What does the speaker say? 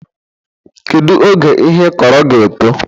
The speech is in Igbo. Kedu oge ihe ịkọrọ ga-eto?